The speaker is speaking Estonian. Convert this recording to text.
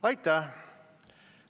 Aitäh!